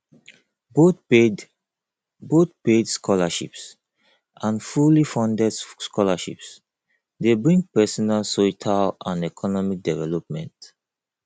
both paid both paid scholarships and fully funded scholarships de bring personal soietal and economic development